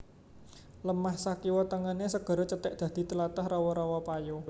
Lemah sakiwa tengené segara cethèk dadi tlatah rawa rawa payo